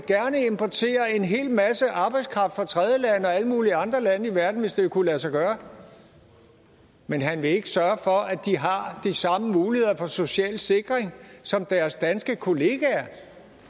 importere en hel masse arbejdskraft fra tredjelande og alle mulige andre lande i verden hvis det kunne lade sig gøre men han vil ikke sørge for at de har de samme muligheder for social sikring som deres danske kollegaer